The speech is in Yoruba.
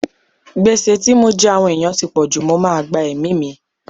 Gbèsè tí mo jẹ àwọn ẹ̀yàn ti pọ̀jù, mo máa gba ẹ̀mí mi.